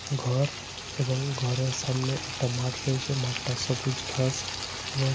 ঘর এবং ঘরের সামনে একটা মাঠ রয়েছে। মাঠটা সবুজ ঘাস এবং --